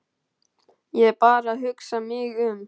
Ég er bara að hugsa mig um.